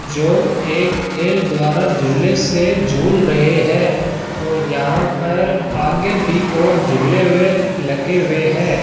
जो एक खेल द्वारा झूले से झूल रहे है और यहां पर आगे भी और झूले वे लगे हुए हैं।